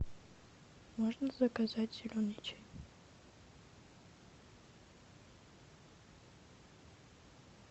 можно заказать зеленый чай